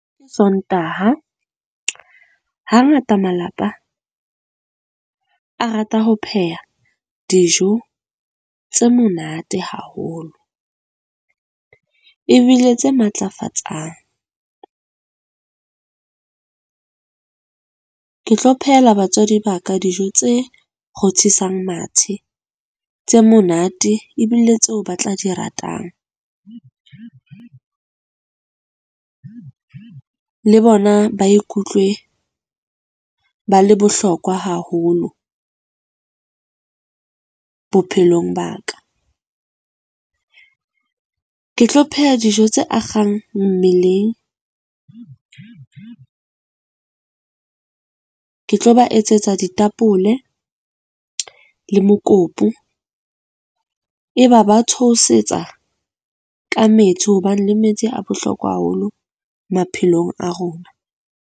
Ke Sontaha. Hangata malapa a rata ho pheha dijo tse monate haholo ebile tse matlafatsang. Ke tlo phehela batswadi ba ka dijo tse rothisang mathe, tse monate ebile tseo ba tla di ratang. Le bona ba ikutlwe ba le bohlokwa haholo bophelong ba ka. Ke tlo pheha dijo tse akgang mmeleng. Ke tlo ba etsetsa ditapole le mokopu. Eba ba thohosetsa ka metsi hobane le metsi a bohlokwa haholo maphelong a rona.